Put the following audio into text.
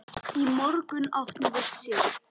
Í morgun áttum við Sig.